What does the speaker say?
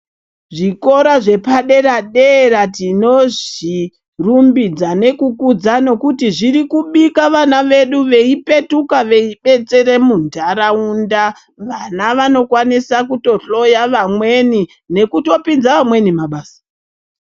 Zvikora zvepaderadera tizvirumbidza nekukudza nokuti zviri kubika vana vedu veipetuka veibetsere muntaraunda vana vanokwanisa kutohloya vamweni nekutopinze vamweni mabasa .